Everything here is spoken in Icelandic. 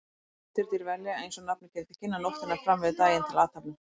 Næturdýr velja, eins og nafnið gefur til kynna, nóttina fram yfir daginn til athafna.